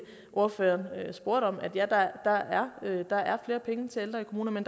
ordføreren spurgte om ja der er flere penge til ældre i kommunerne